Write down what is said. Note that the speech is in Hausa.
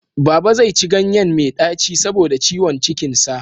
Baba zai ci ganyen mai ɗaci saboda ciwon cikin sa.